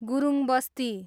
Gurung Basti